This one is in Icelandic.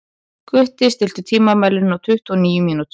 Gutti, stilltu tímamælinn á tuttugu og níu mínútur.